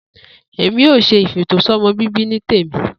Èmi ò s̩e ìfètòsó̩mo̩ bíbí ní tèmi